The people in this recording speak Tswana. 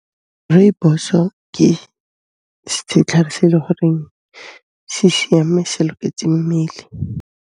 Rooibos-o ke setlhare se e le goreng se siame, se loketse mmele.